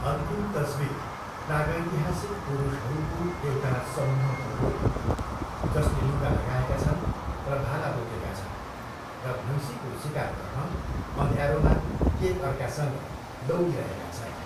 अन्तिम तस्विर प्रागैतिहासिक पुरुषहरूको एउटा समूहको हो, जसले लुगा लगाएका छन् र भाला बोकेका छन्, र भैँसीको सिकार गर्न अँध्यारोमा एक अर्कासँग दौडिरहेका छन्।